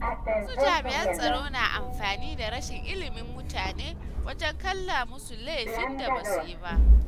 Wasu jami’an tsaro na amfani da rashin ilimin mutane wajen ƙala musu laifin da basu yi ba.